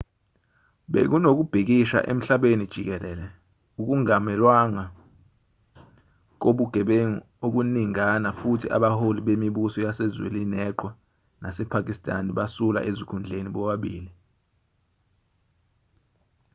bekunokubhikisha emhlabeni jikelele ukumangalelwa kobugebengu okuningana futhi abaholi bemibuso yase-zwenileqhwa nasepakistan basula ezikhundleni bobabili